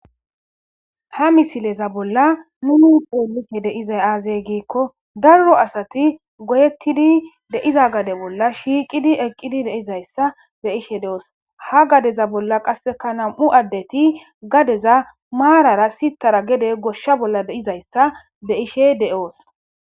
Ha misileza bolla nu xeelishe de'izay aaze giikon daro asati goyetidi de'iza gade bolla shiiqidi eqidi de'izaysa be'ishe doos ha gadeza bolla qase nam'u asati gadeza gedeaarara sittara goyishe dizaysa beeyos